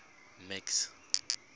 max